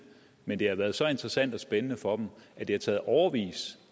men det har været så interessant og så spændende for dem at det har taget årevis